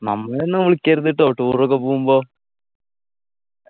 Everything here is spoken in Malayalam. നമ്മളെയൊന്നും വിളിക്കരുത് ട്ടോ tour ഒക്കെ പോവുമ്പോ